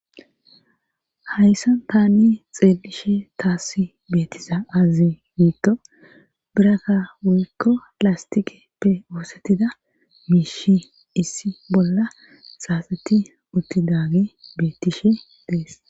hayssan tani xeelishe taassi beettisa azze giitto birakka wuykko lastikeppe oosettida miishi issi bolla xaaseti utti daagi bettishe dees